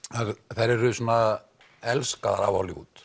þær eru svona elskaðar af Hollywood